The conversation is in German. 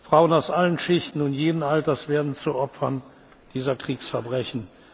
Frauen aus allen Schichten und jeden Alters werden zu Opfern dieser Kriegsverbrechen.